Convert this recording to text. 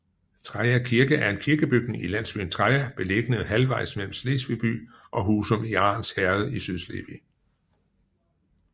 Treja Kirke er en kirkebygning i landsbyen Treja beliggende halvvejs mellem Slesvig by og Husum i Arns Herred i Sydslesvig